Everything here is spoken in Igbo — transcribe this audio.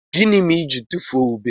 Gini mere i jiri tufuo ube?